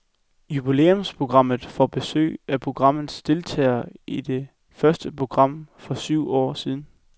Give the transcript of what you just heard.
Jubilæumsprogrammet får besøg af programmets deltagere i det første program for syv år siden.